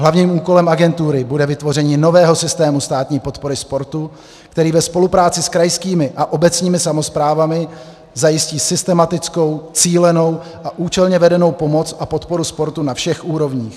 Hlavním úkolem agentury bude vytvoření nového systému státní podpory sportu, který ve spolupráci s krajskými a obecnými samosprávami zajistí systematickou, cílenou a účelně vedenou pomoc a podporu sportu na všech úrovních.